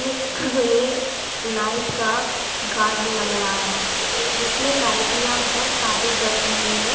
ये नाइट का गार्डन लग रहा है जिसमें लाइटि याँ बहुत सारी जल रही हैं।